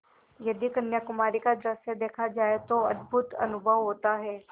यदि कन्याकुमारी का दृश्य देखा जाए तो अद्भुत अनुभव होता है